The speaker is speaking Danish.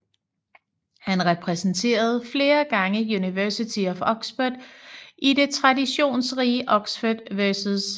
Han repræsenterede flere gange University of Oxford i det traditionsrige Oxford vs